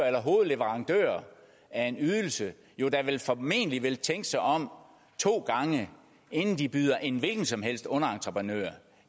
eller hovedleverandører af en ydelse jo da vel formentlig vil tænke sig om to gange inden de byder en hvilken som helst underentreprenør